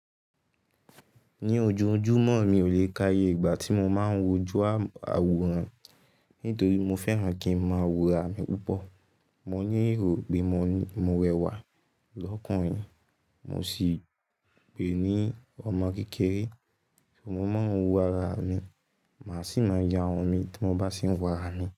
Ní ojoojúmọ́ mi ò lè káyé ìgbà tí mo máa ń wojú àwòrán, nítorí mo fẹ́ràn kí ń máa wo ara mi púpọ̀. Mo ní èrò pé mo rẹwà lọ́kùnrin, mo sì pè ní ọmọ kékeré. Mo máa ń wo ara mi, màá sì máa ya irun mi tí mo bá tì ń wo ara mi.